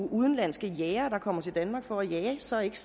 udenlandske jægere der kommer til danmark for at jage så ikke